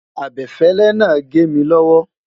abefele nà gé mí lowo